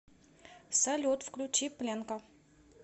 салют включи пленка